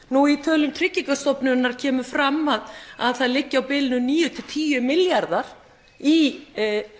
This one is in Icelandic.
nú í tölum tryggingarstofnunar kemur fram að að það liggi á bilinu níu til tíu milljarðar í